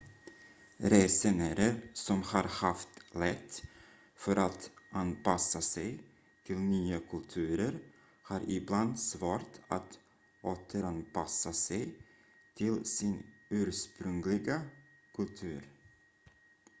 resenärer som har haft lätt för att anpassa sig till nya kulturer har ibland svårt att återanpassa sig till sin ursprungliga kultur